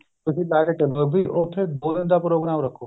ਤੁਸੀਂ ਲਾ ਕੇ ਚੱਲੋ ਉੱਥੇ ਦੋ ਦਿਨ ਦਾ ਪ੍ਰੋਗਰਾਮ ਰੱਖੋ